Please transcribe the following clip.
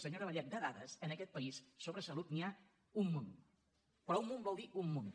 senyora vallet de dades en aquest país sobre salut n’hi ha un munt però un munt vol dir un munt